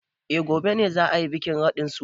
Eh gobe ne za a yi bikin radin suna.